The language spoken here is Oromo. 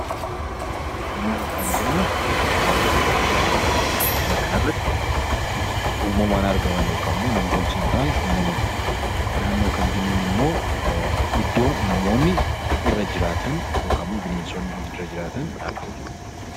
Uumama kan jennuun wantoota addunyaa kanarratti uumamaan argaman yookaan nam-tolchee hin taane uumama jennaan. Naannoo kan jennuun immoo iddoo namoonni irra jiraatan yookaan bineensonni irra jiraatan jechuudha.